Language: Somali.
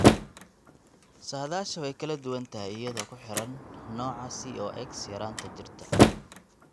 Saadaasha way kala duwan tahay iyadoo ku xidhan nooca COX yaraanta jirta.